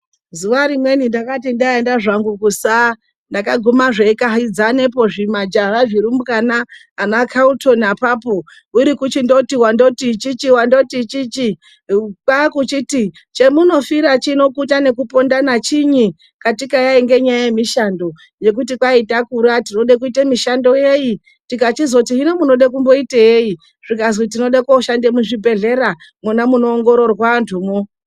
Zuva rimweni ndakati ndaenda zvangu kusa ndakagume zveikahudzane zvimajaha zvirumbwana anaCalton ipapo weichingoti chichi angoti chichi kwakuchiti chemunofira pano kuita yekupondana chinyi katika yaiva nyaya yemishando yekuti kwai takura tinoda kuita mishando yei tikachizoti hino munoda kuita yei zvikazi toda kushanda muzvibhedhlera mona munoongororwa andumwo.